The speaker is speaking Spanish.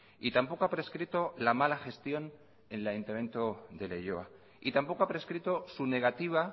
y tampoco ha prescrito la mala gestión en el ayuntamiento de leioa y tampoco ha prescrito su negativa